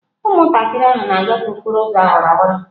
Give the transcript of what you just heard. Ụmụntakịrị ahụ na-agafe okporo ụzọ awara awara.